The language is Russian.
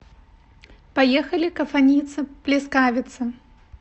поехали кафаница плескавица